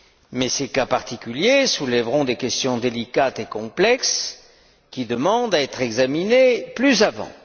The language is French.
sûr. Mais ces cas particuliers soulèveront des questions délicates et complexes qui demandent à être examinées plus avant.